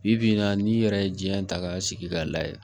Bi bi in na n'i yɛrɛ ye diɲɛ ta k'a sigi k'a lajɛ